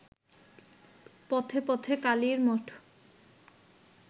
পথে পথে কালীর মঠ